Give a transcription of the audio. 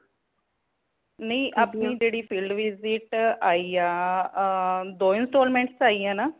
ਨਹੀਂ ਅਪਣੀ ਜੇੜੀ field visit ਆਇਆਂ ਆ ਏ ਦੋ installments ਆਇਆਂ ਨਾਂ